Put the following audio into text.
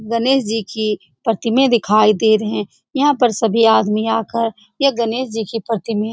गणेश जी की प्रतिमाएं दिखाई दे रहे यहाँ पर सभी आदमी आकर ये गणेश जी की प्रतिमाएं --